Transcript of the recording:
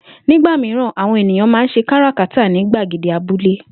Nígbà mìíràn, àwo̩n ènìyàn máa ń s̩e káràkátà ní gbàgede abúlé